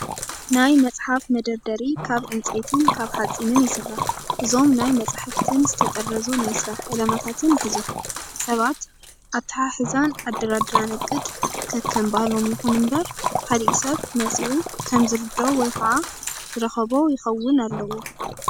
ናይ መፅሓፍ መደርደሪ ካብ ዕንፀይትን ካብ ሓፂንን ይስራሕ። እዞም ናይ መፅሓፍትን ዝተጠረዙ ናይ ስራሕ ዕላማታትን ይሕዙ። ሰባት ኣተሓርሓን ኣደራድራን እቅድ ከከም ባህሎም ይኹን እምበር ካሊእ ሰብ መፂኡ ከም ዝርድኦ ወይ ከም ዝረኽቦ ይኸውን ኣለዎ።